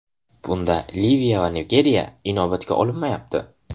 Bunda Liviya va Nigeriya inobatga olinmayapti.